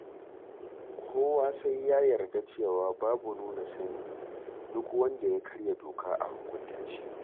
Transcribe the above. Kowa sai ya yarda cewa babu nuna sani, duk wanda ya karya doka a hukunta shi.